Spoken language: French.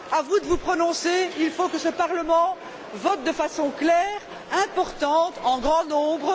À vous de vous prononcer, il faut que ce Parlement vote de façon claire, importante, en grand nombre.